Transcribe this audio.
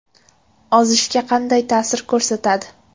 Ozishga qanday ta’sir ko‘rsatadi?